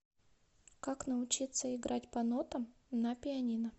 как научиться играть по нотам на пианино